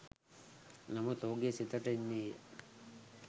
නමුත් ඔහුගේ සිතට එන්නේ